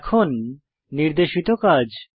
এখন নির্দেশিত কাজ